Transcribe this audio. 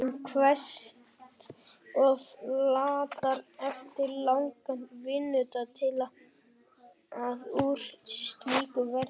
En hann kveðst of latur eftir langan vinnudag til að úr slíku verði.